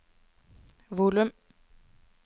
volum